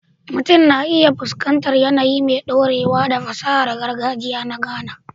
Mutum na iya fuskantar yanayi mai ɗorewa da fasahar gargajiya na Ghana